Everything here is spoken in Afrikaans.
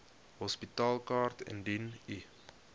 hospitaalkaart indien u